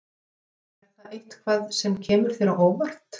Er það eitthvað sem kemur þér á óvart?